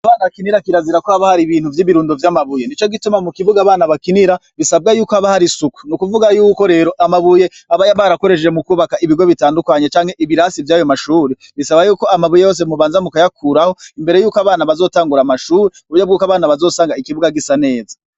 Imbuga abana bakinira kirazira ko haba hari ibirundo vy'amabuye nico gituma mu kibuga abana bakinira bisabwa yuko haba harisuku, nukuvuga yuko rero amabuye abaya barakoresheje mu kubaka ibigo bitandukanye canke ibirasi vyayo mashuri bisaba yuko amabuye yose mubanza mu kayakuraho imbere yuko abana bazotangura amashuri kuburyo bw'uko abana bazosanga ikibuga gisa neza.